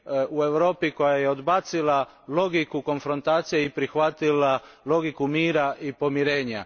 u Evropi koja je odbacila logiku konfrontacije i prihvatila logiku mira i pomirenja.